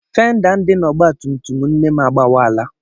Fenda dị n'ọgbatumtum nne m agbawaala.